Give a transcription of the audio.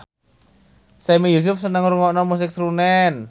Sami Yusuf seneng ngrungokne musik srunen